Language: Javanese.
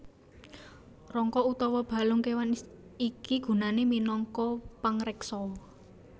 Rangka utawa balung kéwan iki gunané minangka pangreksa